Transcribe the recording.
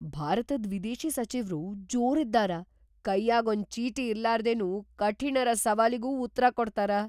ಭಾರತದ್ ವಿದೇಶಿ ಸಚಿವ್ರು ಜೋರ್‌ ಇದ್ದಾರ, ಕೈಯಾಗ್‌ ಒಂದ್‌ ಚೀಟಿ ಇರ್ಲಾರ್ದೆನು ಕಠಿಣಿರ ಸವಾಲಿಗೂ ಉತ್ರಾ ಕೊಡ್ತಾರ.